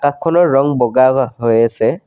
খনৰ ৰং বগা গ হৈ আছে।